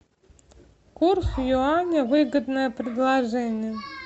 курс юаня выгодное предложение